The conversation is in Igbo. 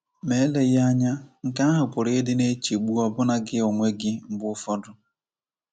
Ma eleghị anya, nke ahụ pụrụ ịdị na-echegbu ọbụna gị onwe gị mgbe ụfọdụ.